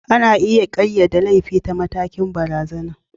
Ana iya ƙayyade laifi ta matakin barazanar.